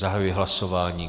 Zahajuji hlasování.